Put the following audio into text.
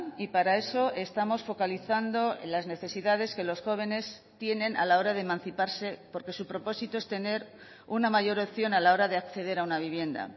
y para eso estamos focalizando las necesidades que los jóvenes tienen a la hora de emanciparse porque su propósito es tener una mayor opción a la hora de acceder a una vivienda